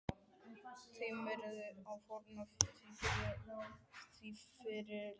Tímirðu að fórna því fyrir leikinn?